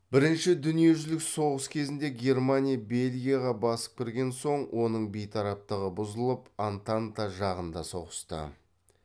бірінші дүниежүзілік соғыс кезінде германия бельгияға басып кірген соң оның бейтараптығы бұзылып антанта жағында соғысты